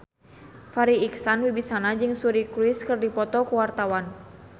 Farri Icksan Wibisana jeung Suri Cruise keur dipoto ku wartawan